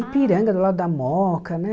Ipiranga, do lado da Mooca, né?